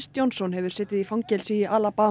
Johnson hefur setið í fangelsi í